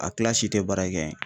A kilasi tɛ baara kɛ ye .